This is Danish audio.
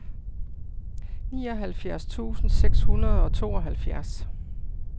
nioghalvfjerds tusind seks hundrede og tooghalvfjerds